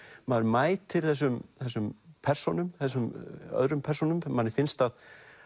maður mætir þessum þessum persónum þessum öðrum persónum manni finnst að